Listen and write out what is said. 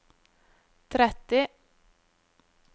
tretti